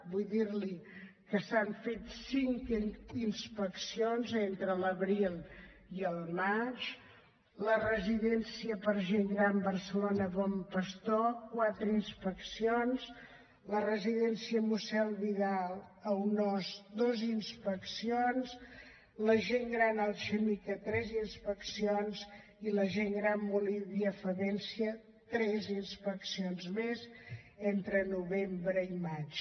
vull dir li que s’hi han fet cinc inspeccions entre l’abril i el maig a la residència per a gent gran barcelona bon pastor quatre inspeccions a la residència mossèn vidal i aunós dues inspeccions a la residència alchemika tres inspeccions a el molí via favència tres inspeccions més entre novembre i maig